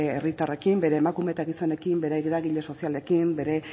herritarrekin bere emakume eta gizonekin bere eragile sozialekin bere